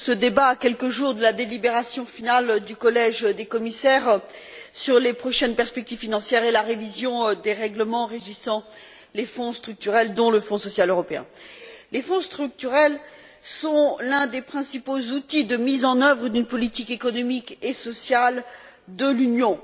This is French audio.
Madame la Présidente, je salue la tenue de ce débat à quelques jours de la délibération finale du collègue des commissaires sur les prochaines perspectives financières et la révision des règlements régissant les fonds structurels, dont le Fonds social européen. Les fonds structurels sont l'un des principaux outils de mise en œuvre d'une politique économique et sociale de l'Union.